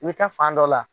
I bɛ taa fan dɔ la